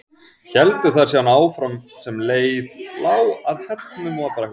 Héldu þær síðan áfram sem leið lá að Hellnum og í Brekkubæ.